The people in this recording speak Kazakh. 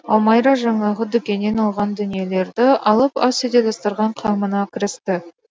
ал майра жаңағы дүкеннен алған дүниелерді алып ас үйде дастархан қамына кірісті